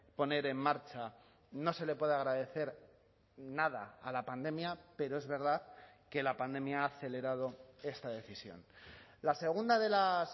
poner en marcha no se le puede agradecer nada a la pandemia pero es verdad que la pandemia ha acelerado esta decisión la segunda de las